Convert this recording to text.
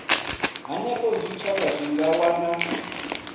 henefho zwitshavha zwi nga wana